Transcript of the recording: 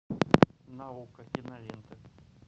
на окко кинолента